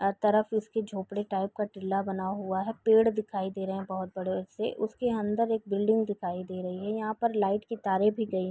अ तरफ उसकी झोपड़ी टाइप का टीला बना हुआ है। पेड़ दिखाई दे रहे हैं बोहोत बड़े से। उसके अंदर एक बिल्डिंग दिखाई दे रही है। यहाँ पर लाइट की तारें भी गई --